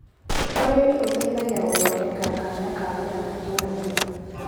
ũrĩmi ũteithagia gũthondeka kanya ka wĩra matũrainĩ.